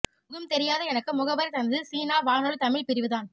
முகம் தெரியாத எனக்கு முகவரி தந்தது சீனா வானொலி தமிழ் பிரிவு தான்